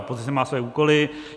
Opozice má své úkoly.